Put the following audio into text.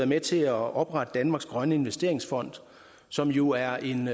med til at oprette danmarks grønne investeringsfond som jo er en